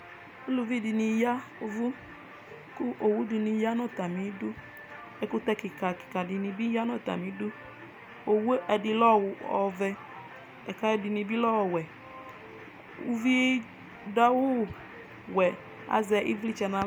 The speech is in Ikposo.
Ʋlʋvɩ dɩnɩ yavʋ kʋ owʋ dɩnɩ ya nʋ atami dʋ ɛkutɛ kɩka kɩka dɩnɩ bɩ ya nʋ atamɩ dʋ owʋe ɛdɩ lɛ ɔvɛ lakʋ ɛdɩnɩ lɛ owɛ ʋvɩ dʋ awʋ wɛ azɛ ɩvlɩtsɛ nʋ aɣla